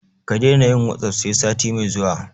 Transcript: Ka daina yin "WhatsApp" sai sati mai zuwa.